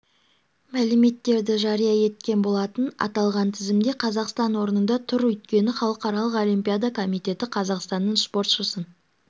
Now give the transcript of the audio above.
мәліметтерді жария еткен болатын аталған тізімде қазақстан орында тұр өйткені халықаралық олимпиада комитеті қазақстанның спортшысын